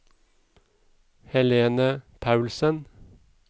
Helene Paulsen